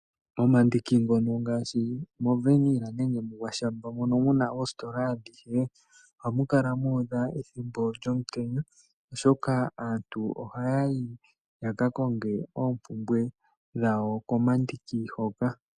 Momandiki ngono ngashi movaniyela nenge mungwashamba mono muna esitola adhihe oha mukala muudha ethimbo lyomutenya oshoka aantu oha yayi yaka konge eepumbwe dhawo komandiki hoka.